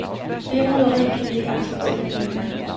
Det roderi kan vi ikke acceptere længere.